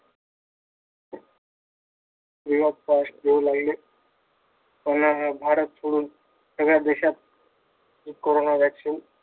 Free of cost देऊ लागले. भारत सोडून सगळ्या देशांत कोरोना vaccine